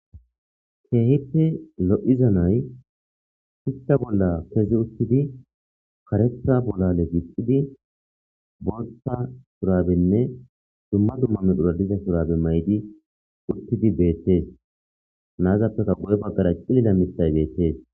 keehippe lo7iza nay hista bolla kezi uttidi karetha bola legisidi bootta surabenne dumma dumma medhura diza surabe maydi uttidi beettees naazappeka gu7e baggara cilila mitthay beettees